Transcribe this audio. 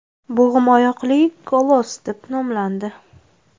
Bo‘g‘imoyoqli Koloss deb nomlandi.